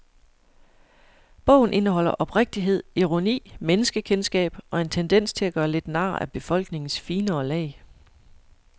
Bogen indeholder oprigtighed, ironi, menneskekendskab og en tendens til at gøre lidt nar af befolkningens finere lag.